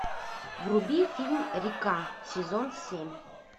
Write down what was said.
вруби фильм река сезон семь